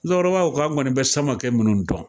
Musokɔrɔba ko k'olu kɔni bɛ Samakɛ minnu dɔn